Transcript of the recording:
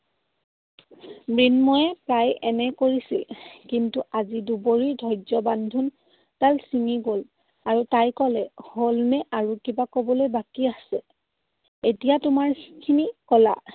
মৃন্ময়ে প্ৰায় এনে কৈছিল। কিন্তু আজি দুবৰিৰ ধৈৰ্য্যৰ বান্ধোনডাল চিগি গ'ল। আৰু তাই কলে, হ'ল নে আৰু কিবা কবলৈ বাকী আছে? এতিয়া তোমাৰখিনি কলা।